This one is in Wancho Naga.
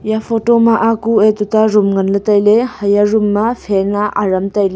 eya photo ma a kue tuta room nganle taile haya room ma fan a aram taile.